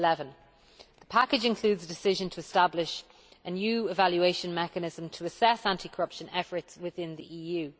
2011. The package includes the decision to establish a new evaluation mechanism to assess anti corruption efforts within the EU.